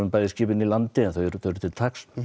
bæði skipin í landi en þau eru til taks